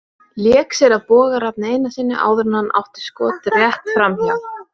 Lék sér að Boga Rafni Einarssyni áður en hann átti skot rétt framhjá.